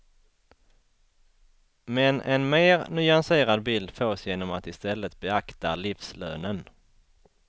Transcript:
Men en mer nyanserad bild fås genom att i stället beakta livslönen.